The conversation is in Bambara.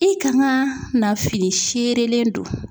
I kann na ka fili seerelen don.